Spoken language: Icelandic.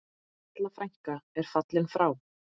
Halla frænka er fallin frá.